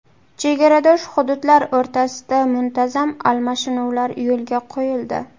Chegaradosh hududlar o‘rtasida muntazam almashinuvlar yo‘lga qo‘yildi.